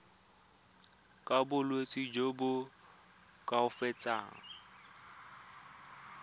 ka bolwetsi jo bo koafatsang